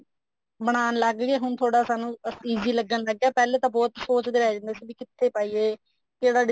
ਬਣਾਉਣ ਲੱਗ ਗਏ ਹੁਣ ਥੋੜਾ ਸਾਨੂੰ easy ਲੱਗਣ ਲੱਗ ਗਿਆ ਪਹਿਲੇ ਤਾਂ ਬਹੁਤ ਸੋਚਦੇ ਰਹਿ ਜਾਂਦੇ ਸੀ ਵੀ ਕਿੱਥੇ ਪਾਈਏ ਕਿਹੜਾ design